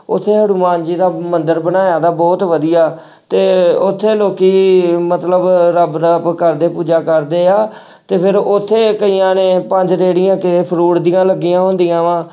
ਉੱਥੇ ਹਨੂੰਮਾਨ ਜੀ ਦਾ ਮੰਦਿਰ ਬਣਾਇਆ ਵਾ ਬਹੁਤ ਵਧੀਆ ਤੇ ਉੱਥੇ ਲੋਕੀ ਮਤਲਬ ਰੱਬ ਰੱਬ ਕਰਦੇ, ਪੂਜਾ ਕਰਦੇ ਆ ਤੇ ਫਿਰ ਉੱਥੇ ਕਈਆਂ ਨੇ ਪੰਜ ਰੇੜੀਆਂ ਤੇ fruit ਦੀ ਲੱਗੀਆਂਂ ਹੁੰਦੀਆਂ ਵਾਂ